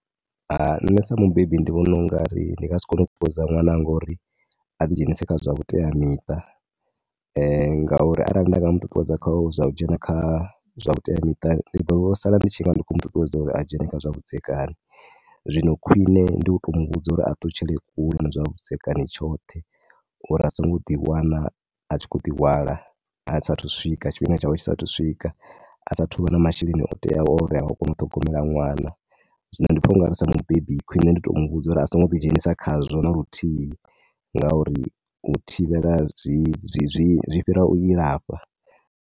Nṋe sa mubebi ndi vhona u nga ri a thi nga si kone u ṱuṱuwedza ṅwananga uri a ḓi dzhenise kha zwithu zwa vhuteamiṱa ngauri arali nda mu ṱuṱuwedza kha zwa u dzhena kha zwa vhuteamiṱa ndi ḓo sala ndi tshi nga ndi khou mu ṱuṱuwedza kha zwa uri a dzhene kha zwavhudzekani. Zwino khwine ndi tou mu vhudza uri a ṱutshele kule na zwavhudzekani tshoṱhe uri a songo ḓiwana a tshi khou ḓihwala a sa athu u swika, tshifhinga tshawe tshi sa athu u swika. A sa athu u vha na masheleni o teaho uri a kone u ṱhogomela ṅwana. Zwino ndi pfha u ngauri sa mubebi kwine ndi tou mu vhudza uri a songo ḓi dzhenisa khazwo na luthihi. Ngauri u thivhela zwi, zwi fhira u ilafha.